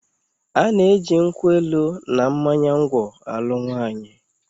A na-eji nkwụ elu na mmanya ngwọ alụ nwaanyị.